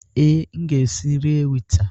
Ee, m ga-esi nri ewita.